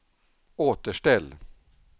återställ